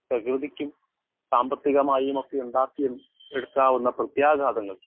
speaker 1 പ്രകൃതിക്കും സാമ്പത്തികമായുമൊക്കെയുണ്ടാക്കിയും എടുക്കാവുന്ന പ്രേത്യാഘാതങ്ങളും